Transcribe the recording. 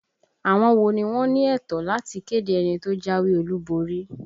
Àwọn wo ni wọ́n ní ẹ̀tọ́ láti kéde ẹni tó jáwé olúborí?